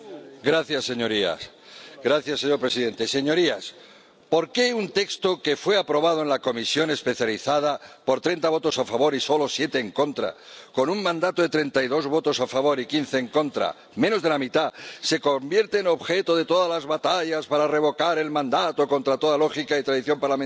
Señor presidente, señorías, ¿por qué un texto que fue aprobado en la comisión especializada por 30 votos a favor y solo 7 en contra, con un mandato de 32 votos a favor y 15 en contra —menos de la mitad-se convierte en objeto de todas las batallas para revocar el mandato contra toda lógica y tradición parlamentaria?